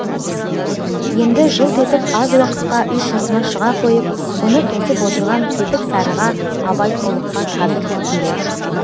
енді жылт етіп аз уақытқа үй сыртына шыға қойып бұны тосып отырған кетік сарыға абай ұлыққа қазір кіргелі